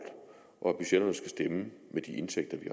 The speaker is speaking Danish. og at budgetterne skal stemme med de indtægter vi